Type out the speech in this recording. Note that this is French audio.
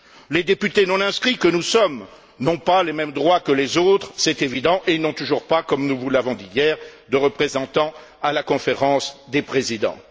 Les députés non inscrits que nous sommes n'ont pas les mêmes droits que les autres, c'est évident, et ils n'ont toujours pas, comme nous vous l'avons dit hier, de représentants à la Conférence des présidents.